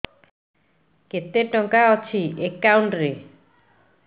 କେତେ ଟଙ୍କା ଅଛି ଏକାଉଣ୍ଟ୍ ରେ